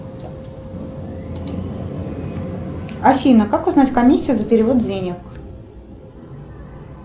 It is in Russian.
афина как узнать комиссию за перевод денег